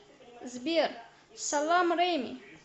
сбер салам реми